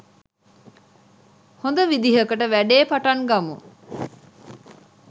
හොඳ විදිහකට වැඩේ පටන් ගමු.